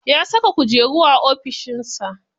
Ya saka kujeru a ofishin sa.